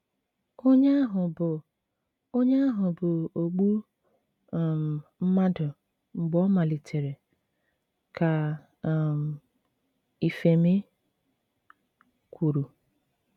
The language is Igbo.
“ Onye ahụ bụ Onye ahụ bụ ogbu um mmadụ mgbe ọ malitere ,ka um ifemi kwuru.